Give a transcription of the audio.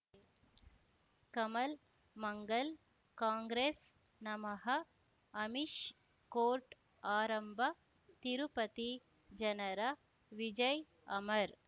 ಕಮಲ್ ಮಂಗಲ್ ಕಾಂಗ್ರೆಸ್ ನಮಃ ಅಮಿಷ್ ಕೋರ್ಟ್ ಆರಂಭ ತಿರುಪತಿ ಜನರ ವಿಜಯ್ ಅಮರ್